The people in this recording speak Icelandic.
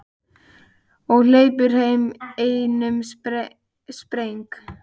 Og hleypur heim í einum spreng.